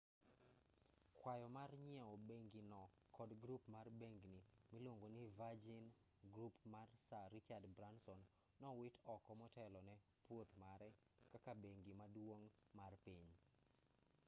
kwayo mar nyieo bengino kod grup mar bengni miluongo ni virgin group mar sir richard branson nowit oko motelo ne pwoth mare kaka bengi maduong' mar piny